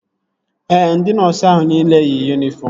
Ee, ndị nọọsu ahụ nile yi yunifọm